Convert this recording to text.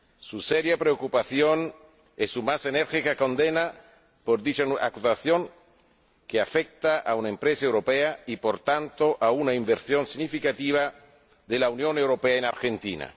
su seria preocupación y su más enérgica condena por dicha actuación, que afecta a una empresa europea y, por tanto, a una inversión significativa de la Unión Europea en Argentina.